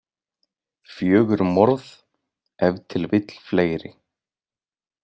Fjögur morð, ef til vill fleiri.